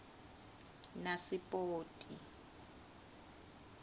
nasipoti